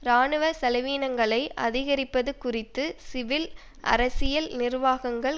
இராணுவ செலவீனங்களை அதிகரிப்பது குறித்து சிவில் அரசியல் நிர்வாகங்கள்